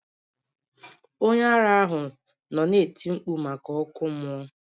Onye ara ahụ nọ na-eti mkpu maka ọkụ mmụọ.